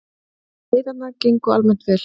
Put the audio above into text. Veiðarnar gengu almennt vel